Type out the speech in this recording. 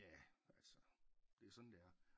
Ja altså det er sådan det er